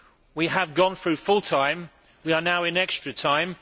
We have gone through full time, we are now in extra time.